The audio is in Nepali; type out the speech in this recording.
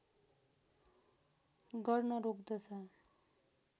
गर्न रोक्दछ